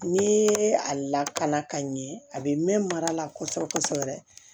Ni ye a lakana ka ɲɛ a bɛ mɛn mara la kosɛbɛ kosɛbɛ